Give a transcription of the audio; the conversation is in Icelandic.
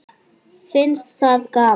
Finnst það gaman.